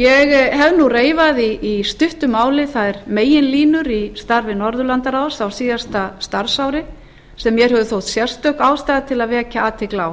ég hef nú reifað í stuttu máli þær meginlínur í starfi norðurlandaráðs á síðasta starfsári sem mér hefur þótt sérstök ástæða til að vekja athygli á